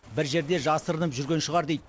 бір жерде жасырынып жүрген шығар дейді